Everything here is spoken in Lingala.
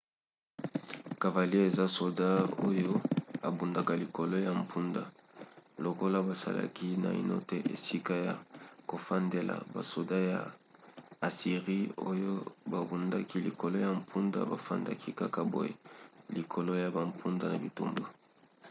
cavalier eza soda oyo abundaka likolo ya mpunda. lokola basalaki naino te esika ya kofandela basoda ya assirie oyo babundaki likolo ya mpunda bafandaki kaka boye likolo ya bampunda na bitumba